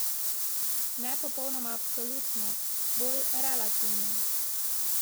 Ne popolnoma absolutno, bolj relativno.